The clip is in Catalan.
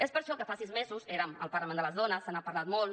és per això que fa sis mesos érem al parlament de les dones se n’ha parlat molt